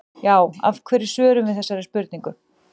Já, af hverju svörum við þessari spurningu?